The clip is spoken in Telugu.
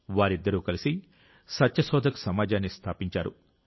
వారిద్దరూ కలిసి సత్యశోధక్ సమాజాన్ని స్థాపించారు